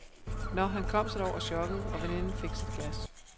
Nå, han kom sig da over chokket, og veninden fik sit glas.